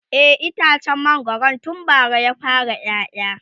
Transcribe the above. e itacen mangwaron tun bara ya fara ƴaƴa